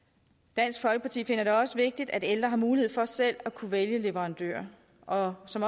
dansk folkeparti finder det også vigtigt at ældre har mulighed for selv at kunne vælge leverandør og som